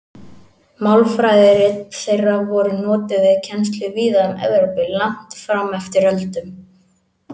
Málfræðirit þeirra voru notuð við kennslu víða um Evrópu langt fram eftir öldum.